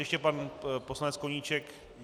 Ještě pan poslanec Koníček.